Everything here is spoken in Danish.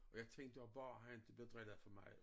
Jeg tænker bare han ikke bliver drillet for meget